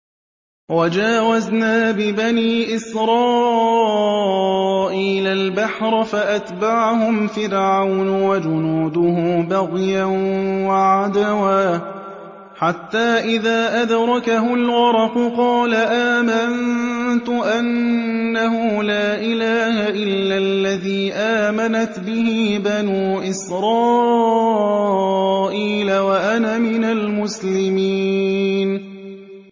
۞ وَجَاوَزْنَا بِبَنِي إِسْرَائِيلَ الْبَحْرَ فَأَتْبَعَهُمْ فِرْعَوْنُ وَجُنُودُهُ بَغْيًا وَعَدْوًا ۖ حَتَّىٰ إِذَا أَدْرَكَهُ الْغَرَقُ قَالَ آمَنتُ أَنَّهُ لَا إِلَٰهَ إِلَّا الَّذِي آمَنَتْ بِهِ بَنُو إِسْرَائِيلَ وَأَنَا مِنَ الْمُسْلِمِينَ